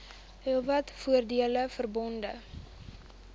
heelwat voordele verbonde